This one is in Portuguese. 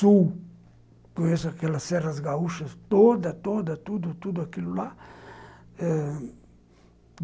Sul, conheço aquelas serras gaúchas todas, tudo, toda, tudo aquilo tudo lá.